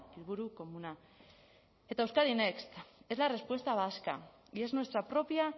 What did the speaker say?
helburu komuna eta euskadi next es la respuesta vasca y es nuestra propia